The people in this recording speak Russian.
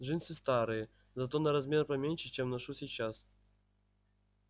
джинсы старые зато на размер поменьше чем ношу сейчас